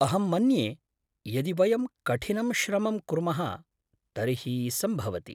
अहं मन्ये यदि वयं कठिनं श्रमं कुर्मः तर्हि सम्भवति।